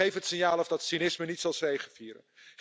Geef het signaal af dat cynisme niet zal zegevieren.